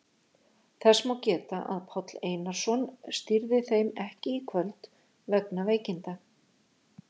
Þess má geta að Páll Einarsson stýrði þeim ekki í kvöld vegna veikinda.